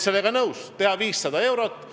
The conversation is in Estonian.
Selle aasta alguses oleks ka diislikütuse aktsiis tõusnud.